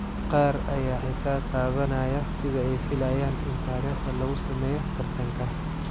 Qaar ayaa xitaa taabanaya sida ay filayaan in taariikhda lagu sameeyo tartanka.